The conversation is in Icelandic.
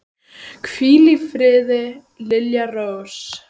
Hvíl í friði, Lilja Rós.